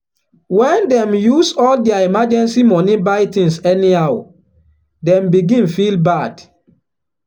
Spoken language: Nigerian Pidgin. when dem use all their emergency money buy things anyhow dem begin feel bad.